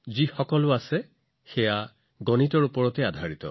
অৰ্থাৎ এই সমগ্ৰ বিশ্বব্ৰহ্মাণ্ডত থকা সকলোবোৰ বস্তু গণিতৰ ওপৰত আধাৰিত